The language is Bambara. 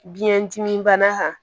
Biyɛn dimi bana kan